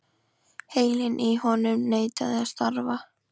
Heilinn í honum neitaði að starfa.